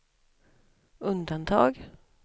undantag